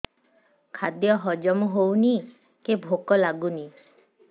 ଖାଦ୍ୟ ହଜମ ହଉନି କି ଭୋକ ଲାଗୁନି